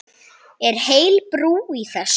Er heil brú í þessu?